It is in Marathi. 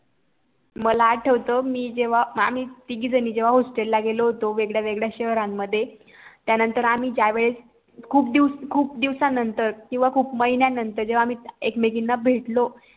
मला आठवत मी जेव्हा आम्ही तिघी जणी जेव्हा HOSTEL ला गेलो होतो वेगळ्यावेगळ्या शहरामध्ये त्यानंतर आम्ही ज्यावेळेस खूप दिवस खूप दिवसांनतर किंवा खूप महिन्यांनतर जेव्हा आम्ही एकमेकींना भेटलो